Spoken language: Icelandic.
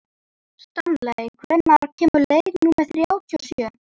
Stanley, hvenær kemur leið númer þrjátíu og sjö?